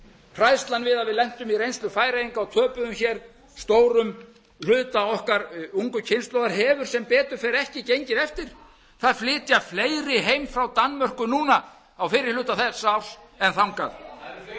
hræðslan við að við lentum í reynslu færeyinga og töpuðum hér stórum hluta okkar ungu kynslóðar hefur sem betur fer ekki gengið eftir það flytja fleiri heim frá danmörku núna á fyrri hluta þessa árs en þangað það eru